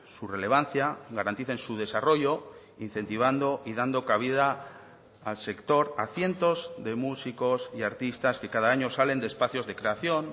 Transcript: su relevancia garanticen su desarrollo incentivando y dando cabida al sector a cientos de músicos y artistas que cada año salen de espacios de creación